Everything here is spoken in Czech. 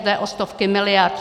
Jde o stovky miliard.